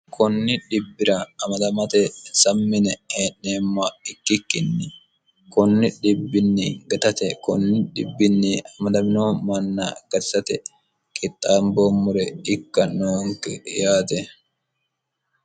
konni dhibbira amadamate sammine ee'neemma ikkikkinni kunni dhibbinni gatate kunni dhibbinni amadamino manna gatisate qixxaamboommore ikka noonke yaate